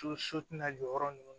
So so tɛna jɔyɔrɔ nunnu